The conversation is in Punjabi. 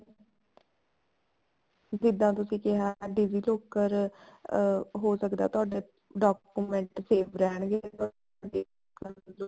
ਜਿੱਦਾਂ ਤੁਸੀਂ ਕਿਹਾ digi locker ਅਮ ਹੋ ਸਕਦਾ ਤੁਹਾਡੇ ਕੋਲ document save ਰਹਿਣਗੇ ਵੀ ਤੁਹਾਨੂੰ ਦੇਖਣ